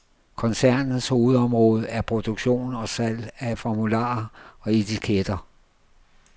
Koncernens hovedområde er produktion og salg af formularer og etiketter.